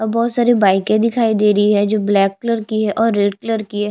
बहुत सारी बाइके दिखाई दे रही है जो ब्लैक कलर की हैं और रेड कलर की है।